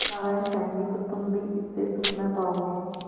नारायण चाहेंगे तो तुम भी इससे सुख न पाओगे